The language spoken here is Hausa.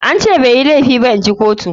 An ce bai yi laifi ba inji kotun.